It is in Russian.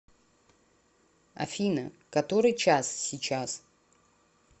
афина который час сейчас